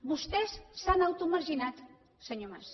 vostès s’han automarginat senyor mas